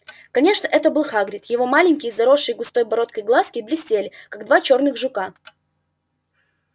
конечно это был хагрид его маленькие заросшие густой бородкой глазки блестели как два черных жука